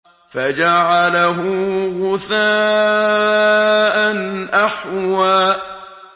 فَجَعَلَهُ غُثَاءً أَحْوَىٰ